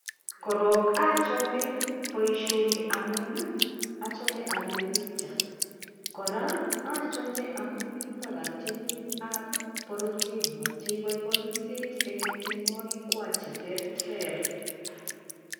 Korok achome boisyoni amu achome apire picha